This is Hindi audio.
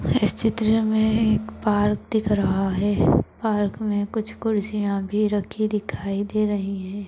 इस चित्र में एक पार्क दिख रहा है पार्क में कुछ कुर्सियां भी रखी दिखाई दे रही है।